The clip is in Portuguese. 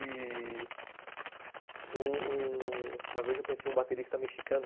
E... um... uma vez eu conheci um baterista mexicano.